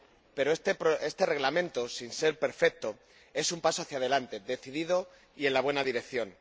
Pero, este Reglamento, sin ser perfecto, es un paso hacia adelante, decidido y en la buena dirección.